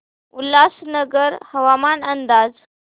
उल्हासनगर हवामान अंदाज